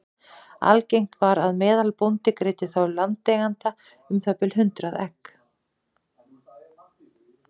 Algengt var að meðalbóndi greiddi þá landeiganda um það bil hundrað egg.